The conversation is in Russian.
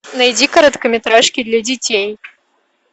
найди короткометражки для детей